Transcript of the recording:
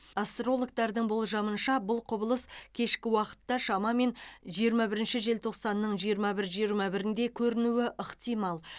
астрологтардың болжамынша бұл құбылыс кешкі уақытта шамамен жиырма бірінші желтоқсанның жиырма бір жиырма бірінде көрінуі ықтимал